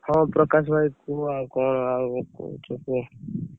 ହଁ ପ୍ରକାଶ ଭାଇ କୁହ, ଆଉ କଣ, ଆଉ କହୁଛ କୁହ।